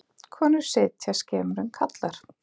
Konur sitja skemur en karlar.